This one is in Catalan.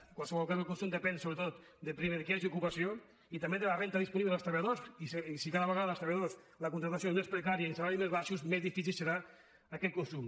en qualsevol cas el consum depèn sobretot primer que hi hagi ocupació i també de la renda disponible dels treballadors i si cada vegada per als treballadors la contractació és més precària i els salaris més baixos més difícil serà aquest consum